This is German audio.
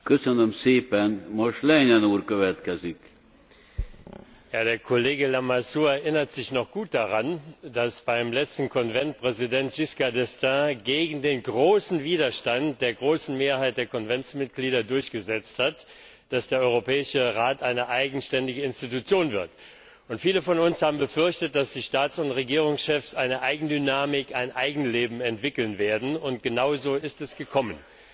Herr Präsident! Der Kollege Lamassoure erinnert sich noch gut daran, dass beim letzten Konvent Präsident Giscard d'Estaing gegen den großen Widerstand der großen Mehrheit der Konventsmitglieder durchgesetzt hat, dass der Europäische Rat ein eigenständiges Organ wird. Viele von uns haben befürchtet, dass die Staats und Regierungschefs eine Eigendynamik, ein Eigenleben entwickeln werden, und genauso ist es gekommen.